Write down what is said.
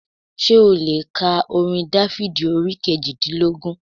Sé ó le è ka orin Dáfídì orí kejìdínlógún